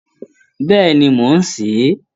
Bẹ́ẹ̀ni, mò ń sè é